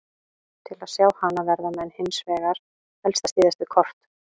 Til að sjá hana verða menn hins vegar helst að styðjast við kort.